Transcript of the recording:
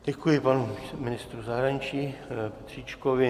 Děkuji panu ministru zahraničí Petříčkovi.